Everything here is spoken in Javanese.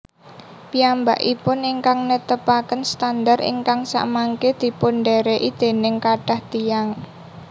Piyambakipun ingkang netepaken standar ingkang samangke dipundhèrèki dèning kathah tiyang